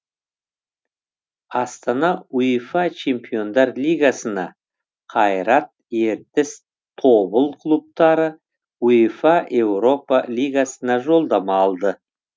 астана уефа чемпиондар лигасына қайрат ертіс тобыл клубтары уефа еуропа лигасына жолдама алды